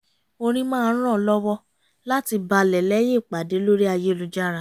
orin máa ń ràn án lọ́wọ́ láti balẹ̀ lẹ́yìn ìpàdé lórí ayélujára